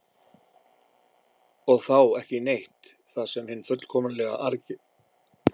og þá „ekki neitt“ það sem hinn fullkomlega aðgerðalausi gerir